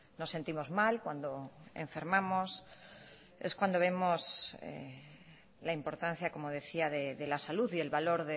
nos sentimos mal cuando enfermamos es cuando vemos la importancia como decía de la salud y el valor